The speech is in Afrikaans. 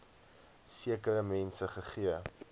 sekere mense gegee